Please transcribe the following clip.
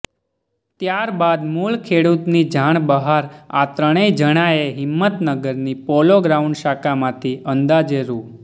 ત્યારબાદ મુળ ખેડૂતની જાણ બહાર આ ત્રણેય જણાએ હિંમતનગરની પોલોગ્રાઉન્ડ શાખામાંથી અંદાજે રૂ